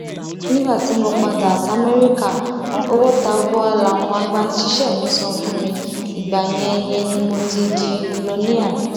nígbà tí mo padà samẹríkà owó tabua làwọn agbanisíṣẹ mi san fún mi ìgbà yẹn yẹn ni mo ti di milọníà